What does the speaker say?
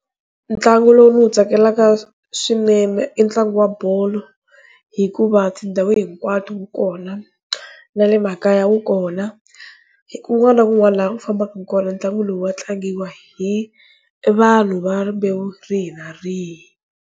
Ntlangu lowu ndzi wu tsakelaka swinene i ntlangu wa bolo hikuva tindhawu hinkwato wu kona nale makaya wu kona hi kun'wana na kun'wana la u fambaku kona ntlangu lowu wa tlangiwa hi vanhu va rimbewu rihi na rihi.